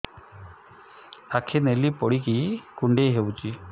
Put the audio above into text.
ଆଖି ନାଲି ପଡିକି କୁଣ୍ଡେଇ ହଉଛି